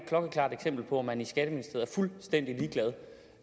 klokkeklart eksempel på at man i skatteministeriet